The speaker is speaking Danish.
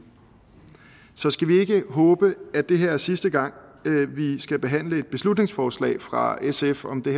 så skal vi ikke håbe at det her er sidste gang vi skal behandle et beslutningsforslag fra sf om det